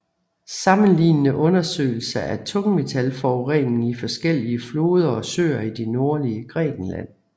Sammenlignende undersøgelse af tungmetallforurening i forskellige floder og søer i det nordlige Grækenland